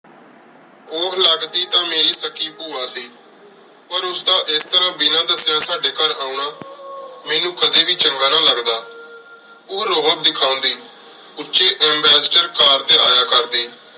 ਓਹ ਲਗਦੀ ਤਾਂ ਮੇਰੀ ਸੱਕੀ ਭੁਵਾ ਸੀ ਪਰ ਉਸਦਾ ਏਸ ਤਰ੍ਹਾ ਬਿਨਾ ਦਸਿਆਂ ਸਾਡੀ ਘਰ ਅਨਾ ਮੇਨੂ ਕਦੀ ਵੀ ਚੰਗਾ ਨਾ ਲਗਦਾ ਓਹ ਦਿਖਾਂਦੀ ਉਚੀ ਐਬਸਟਰ ਕਾਰ ਟੀ ਯਾ ਕਰਦੀ